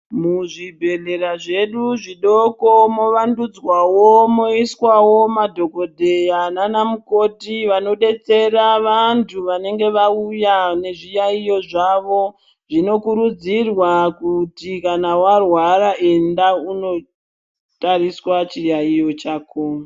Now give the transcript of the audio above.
Muzvibhedhlera zvedu zvidoko movandudzwawo moiswawo madhokodheya nana mukoti vanodetsera vantu vanenge vauya nezviyaiyo zvavo zvinokurudzirwa kuti kana warwara enda undotariswa chiyaiyo chako.